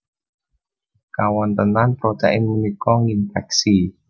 Kawontenan protein punika nginfèksi